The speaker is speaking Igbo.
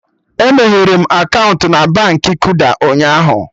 E meghere m akaụntụ na Baankị Kuda ụnyaahụ